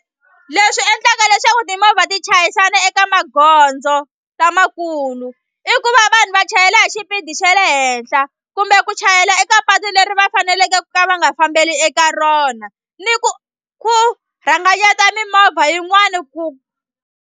Leswi endlaka leswaku timovha ti chayisana eka magondzo lamakulu i ku va vanhu va chayela hi xipidi xa le henhla kumbe ku chayela eka patu leri va faneleke ku ka va nga fambeli eka rona ni ku ku rhanganyeta mimovha yin'wani ku.